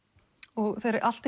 og þegar allt